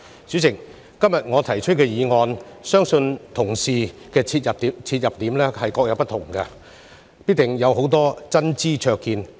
主席，就我今天提出的議案，相信同事必定會從不同切入點，提出很多真知灼見。